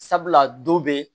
Sabula don bɛ